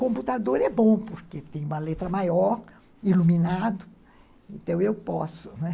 Computador é bom, porque tem uma letra maior, iluminado, então eu posso, né?